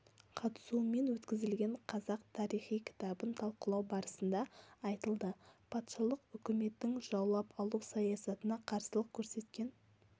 қатысуымен өткізілген қазақ тарихы кітабын талқылау барысында айтылды патшалық үкіметтің жаулап алу саясатына қарсылық көрсеткен